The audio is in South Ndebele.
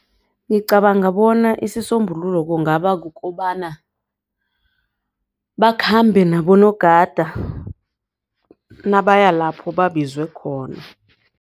Ngicabanga bona isisombululo kungaba kukobana bakhambe nabonogada nabaya lapho babizwe khona.